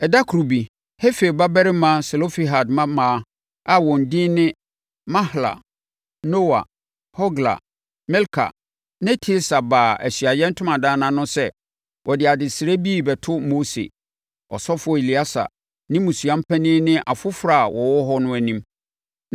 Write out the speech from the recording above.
Ɛda koro bi, Hefer babarima Selofehad mmammaa a wɔn edin ne Mahla, Noa, Hogla, Milka ne Tirsa baa Ahyiaeɛ Ntomadan no ano sɛ wɔde adesrɛ bi rebɛto Mose, ɔsɔfoɔ Eleasa ne mmusua panin ne afoforɔ a wɔwɔ hɔ no anim.